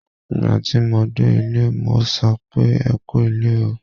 Ìgbà tí mo dé ilé, mo sọ pé "ẹ kú ilé o".